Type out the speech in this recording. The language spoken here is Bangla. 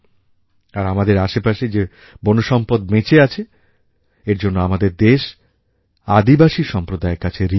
আর আমাদের আশেপাশে যে বনসম্পদ বেঁচে আছে এর জন্য আমাদের দেশ আদিবাসী সম্প্রদায়ের কাছে ঋণী